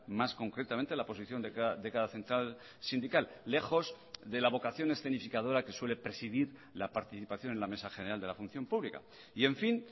más concretamente la posición de cada central sindical lejos de la vocación escenificadora que suele presidir la participación en la mesa general de la función pública y en fin